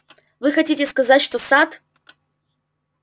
вы хотите сказать что сад